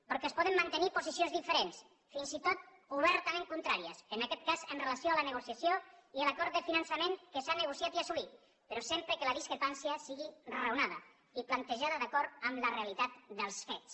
perquè es poden mantenir posicions diferents fins i tot obertament contràries en aquest cas amb relació a la negociació i a l’acord de finançament que s’ha negociat i assolit però sempre que la discrepància sigui raonada i plantejada d’acord amb la realitat dels fets